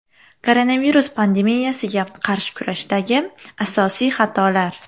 Koronavirus pandemiyasiga qarshi kurashdagi asosiy xatolar.